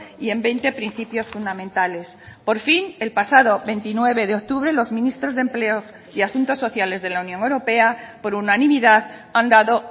y en veinte principios fundamentales por fin el pasado veintinueve de octubre los ministros de empleo y asuntos sociales de la unión europea por unanimidad han dado